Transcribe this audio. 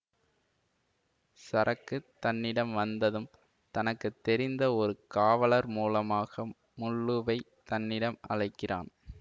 சரக்கு தன்னிடம் வந்ததும் தனக்கு தெரிந்த ஒரு காவலர் மூலமாக முள்ளுவைத் தன்னிடம் அழைக்க்கிறான்